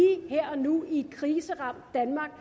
her og nu i et kriseramt danmark